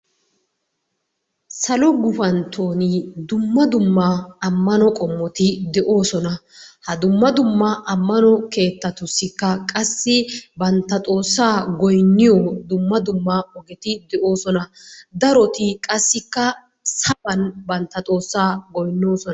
Salo gufanttooni dumma dumma ammano qommoti de'oosona. Ha dumma dumma ammano keettatussikka bantta xoossaa goynniyo dumma dumma ogeti de'oosona. Daroti qassikka saban bantta xoossaa goynnoosona.